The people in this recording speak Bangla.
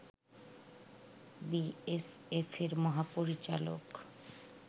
বিএসএফের মহাপরিচালক